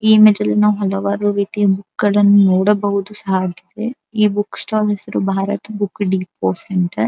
ಈ ಇಮೇಜ್ ಅಲ್ಲಿ ನಾವು ಹಲವಾರು ರೀತಿ ಬುಕ್ಕುಗಳನ್ನು ನೋಡಬಹುದು ಸಾಧ್ಯತೆ ಈ ಬುಕ್ ಸ್ಟಾಲ್ ಹೆಸ್ರು ಬಾರತ್ ಬುಕ್ ಡಿಪೋ ಸೆಂಟರ್ .